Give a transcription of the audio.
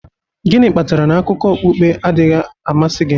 Gịnị kpatara na akụkọ okpukpe adịghị amasị gị?